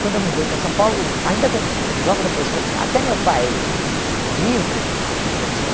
Quando eu mudei para São Paulo, ainda quan logo depois, até meu pai eh vivo, eu tinha...